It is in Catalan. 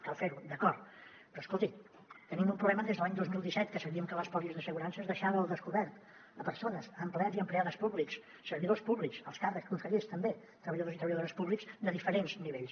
cal fer ho d’acord però escolti tenim un problema des de l’any dos mil disset que sabíem que les pòlisses d’assegurances deixaven al descobert persones empleats i empleades públiques servidors públics alts càrrecs consellers també treballadors i treballadores públiques de diferents nivells